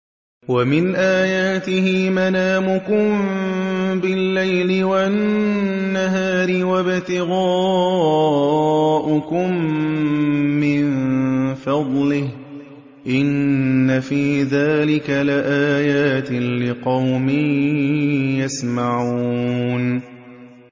وَمِنْ آيَاتِهِ مَنَامُكُم بِاللَّيْلِ وَالنَّهَارِ وَابْتِغَاؤُكُم مِّن فَضْلِهِ ۚ إِنَّ فِي ذَٰلِكَ لَآيَاتٍ لِّقَوْمٍ يَسْمَعُونَ